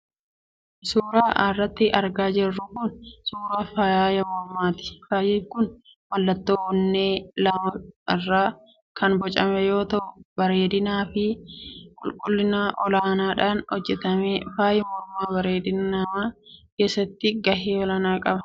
Suuraan as irratti argaa jirru kun suuraa faaya mormaa ti. Faayi kun mallattoo onnee lama irraa kan bocame yoo ta'u bareedinaa fi qulqullina ol aanaadhaan hojjetame. Faayi mormaa bareedina namaa keessatti gahee olaanaa qaba.